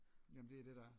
Jamen det er det der er